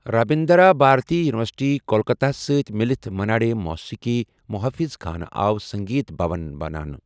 Rabindra Bharati university, Kolkata ہَس سۭتۍ مِلتھ منا ڈے موسیٖقی محافظ خانہٕ آو سنگیت بھون بناونہٕ۔